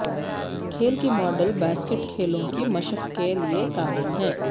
کھیل کی model basket کھیلوں کی مشق کے لئے کامل ہیں